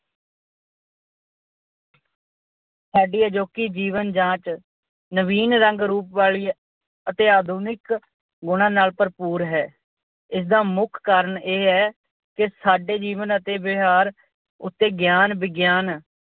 ਸਾਡੀ ਅਜੋਕੀ ਜੀਵਨ-ਜਾਂਚ ਨਵੀਨ ਰੰਗ-ਰੂਪ ਵਾਲੀ ਅਤੇ ਆਧੁਨਿਕ ਗੁਣਾਂ ਨਾਲ ਭਰਪੂਰ ਹੈ। ਇਸ ਦਾ ਮੁੱਖ ਕਾਰਣ ਇਹ ਹੈ ਕਿ ਸਾਡੇ ਜੀਵਨ ਅਤੇ ਵਿਹਾਰ ਉੱਤੇ ਗਿਆਨ ਵਿਗਿਆਨ